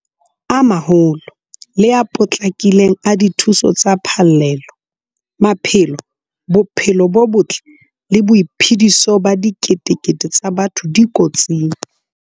A maholo le a potlakileng a dithuso tsa phallelo. Maphelo, bophelo bo botle le boiphediso ba diketekete tsa batho di kotsing.